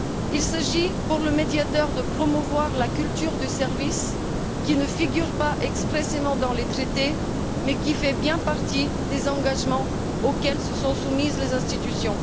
Il s'agit, pour le Médiateur, de promouvoir la culture du service, qui ne figure pas expressément dans les traités, mais qui fait bien partie des engagements auxquels se sont soumises les institutions.